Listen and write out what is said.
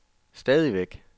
stadigvæk